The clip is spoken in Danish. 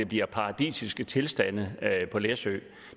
bliver paradisiske tilstande på læsø